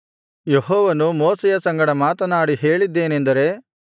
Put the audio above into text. ಯೆಹೋವನು ಮೋಶೆಯ ಸಂಗಡ ಮಾತನಾಡಿ ಹೇಳಿದ್ದೇನೆಂದರೆ